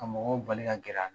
Ka mɔgɔw bali ka gɛrɛ a